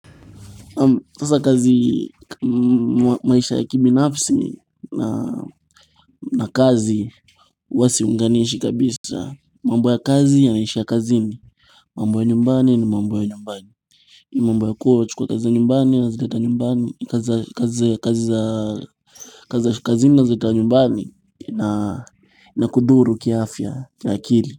Sasa kazi maisha ya kibinafsi na kazi huwa siunganishi kabisa, mambo ya kazi yanaishia kazini, mambo ya nyumbani ni mambo ya nyumbani mambo ya kuwa wachukua kazi za nyumbani unazileta nyumbani, kazi ya kazini nazileta nyumbani ina kudhuru kiafya na akili.